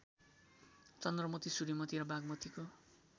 चन्द्रमती सूर्यमती र बागमतीको